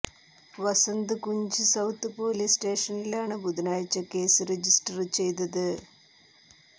Vasant Kunj south police സ്റ്റേഷനിലാണ് ബുധനാഴ്ച case register ചെയ്തത്